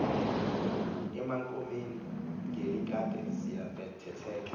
emakhumeni ngelikade seyibetheke